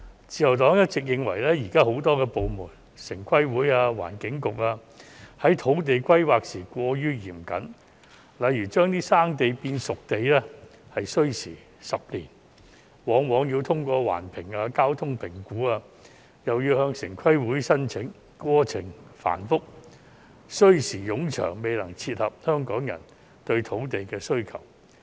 自由黨一直認為現時有很多部門，包括城市規劃委員會和環境局，在土地規劃時過於嚴謹，例如"生地"變成"熟地"便需時10年，往往要通過環境及交通評估，又要向城規會申請，過程繁複、需時冗長，未能配合香港人對土地的需求。